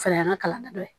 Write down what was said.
O fana y'an ka kalanden dɔ ye